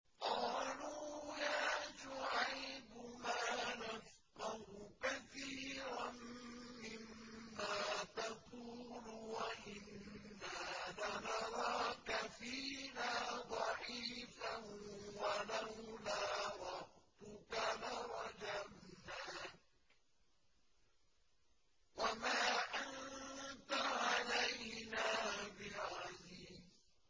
قَالُوا يَا شُعَيْبُ مَا نَفْقَهُ كَثِيرًا مِّمَّا تَقُولُ وَإِنَّا لَنَرَاكَ فِينَا ضَعِيفًا ۖ وَلَوْلَا رَهْطُكَ لَرَجَمْنَاكَ ۖ وَمَا أَنتَ عَلَيْنَا بِعَزِيزٍ